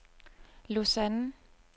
Lausanne